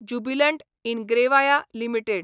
Jubilant Ingrevia limited